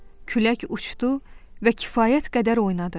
Külək uçdu və kifayət qədər oynadı.